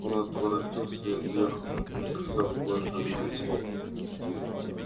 он отворотился и отъехал не сказав больше ни слова